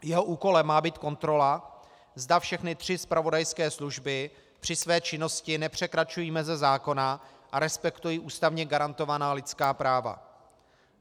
Jeho úkolem má být kontrola, zda všechny tři zpravodajské služby při své činnosti nepřekračují meze zákona a respektují ústavně garantovaná lidská práva.